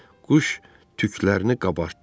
Quş tüklərini qabartdı.